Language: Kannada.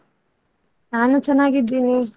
ನಾನು ಚೆನ್ನಾಗಿದ್ದೇನೆ.